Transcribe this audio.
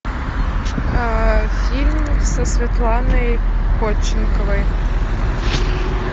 фильм со светланой ходченковой